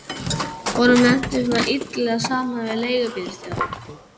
Honum lenti svona illilega saman við leigubílstjóra.